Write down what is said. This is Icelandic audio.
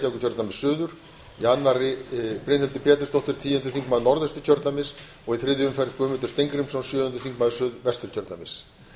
reykjavíkurkjördæmis suður í annarri umferð brynhildur pétursdóttir níundi þingmaður norðausturkjördæmis og í þriðju umferð guðmundur steingrímsson sjöundi þingmaður suðvesturkjördæmis